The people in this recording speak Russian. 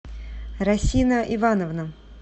расина ивановна